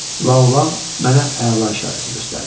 La olan mənə əla işarəsi göstərdi.